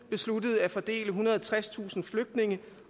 besluttede at fordele ethundrede og tredstusind flygtninge